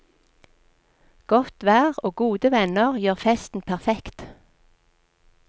Godt vær og gode venner gjør festen perfekt.